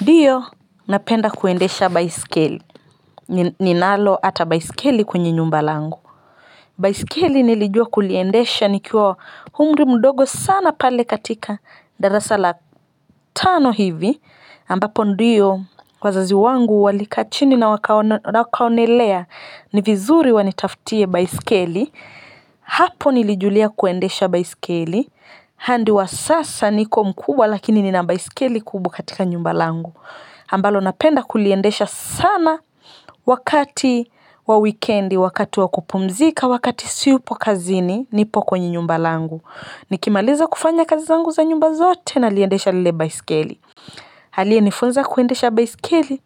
Ndiyo, napenda kuendesha baiskeli. Ninalo hata baiskeli kwenye nyumba langu. Baiskeli nilijua kuliendesha nikiwa umri mdogo sana pale katika darasa la tano hivi. Ambapo ndiyo, wazazi wangu walikaa chini na wakaonelea ni vizuri wanitaftie baiskeli. Hapo nilijulia kuendesha baiskeli. Hadi wa sasa niko mkubwa lakini nina baiskeli kubwa katika nyumba langu. Ambalo napenda kuliendesha sana wakati wa wikendi, wakati wa kupumzika, wakati siyupo kazini, nipo kwenye nyumba langu. Nikimaliza kufanya kazi zangu za nyumba zote naliiendesha lile baiskeli. Aliyenifunza kuendesha baiskeli,